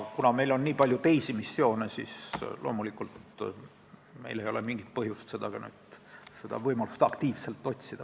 Kuna meil on nii palju teisi missioone, siis loomulikult ei ole meil mingit põhjust seda võimalust praegu aktiivselt otsida.